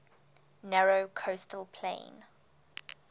narrow coastal plain